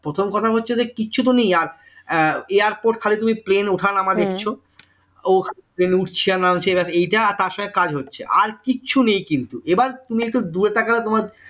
প্রথম কথা হচ্ছে যে কিছু তো নেই আর airport খালি তুমি plane ওঠানামা দেখছো plane উঠছে আর নামছে এবার এইটা আর তার সঙ্গে কাজ হচ্ছে আর কিছু নেই কিন্তু এবার তুমি একটু দূরে তাকালে তোমার